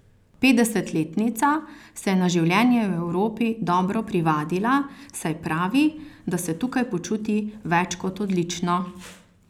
Petdesetletnica se je na življenje v Evropi dobro privadila, saj pravi, da se tukaj počuti več kot odlično.